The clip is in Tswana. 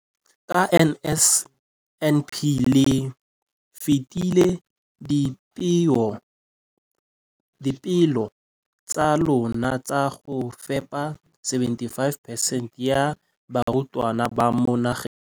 Ka NSNP le fetile dipeelo tsa lona tsa go fepa masome a supa le botlhano a diperesente ya barutwana ba mo nageng.